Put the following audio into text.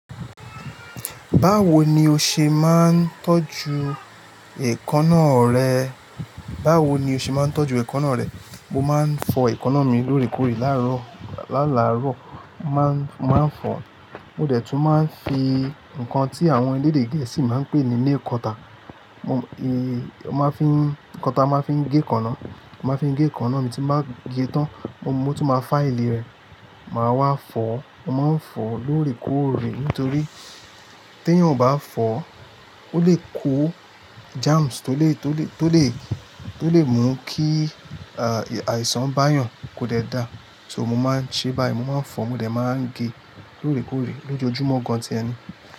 Báwo ni o ṣe máa ń tọ́jú èékánná rẹ? Báwo ni o ṣe máa ń tọ́jú èékánná rẹ? Mo máa ń fọ èékánná mi lóòrèkóòrè láàárọ̀, lálàárọ̀. Mo máa ń, máa ń fọ. Mo dẹ̀ tún máa ń fi nǹkan tí àwọn elédè gẹ̀ẹ́sì máa ń pè ní nail cutter. Mo, eh, ọ máa fín, nkan ta máa fín gé èékánná, mo maa n fi gé èékánná mi tí mo bá gẹ tán, mo tún máa fáili rẹ̀. Máa wá fọ, mo máa ń fọ lóòrèkóòrè nítorí tí ẹ́yàn ò bá fọ ó lè kó germs tó lè, tó lè, tó lè, tó lè mú kí, à, àìsàn bá yàn kó dẹ da. So mo máa ń ṣe báyìí, mo máa ń fọ, mo dẹ̀ máa ń gé lóòrèkóòrè lójoójúmọ́ gan-an ti ẹni.